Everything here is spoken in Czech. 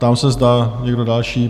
Ptám se, zda někdo další?